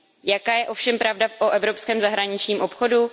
Jaká je ovšem pravda o evropském zahraničním obchodu?